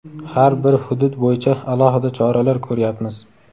har bir hudud bo‘yicha alohida choralar ko‘ryapmiz.